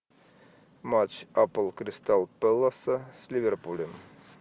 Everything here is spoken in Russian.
матч апл кристал пэласа с ливерпулем